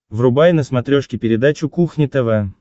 врубай на смотрешке передачу кухня тв